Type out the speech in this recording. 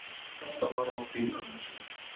Sextán ára á bíl ömmu sinnar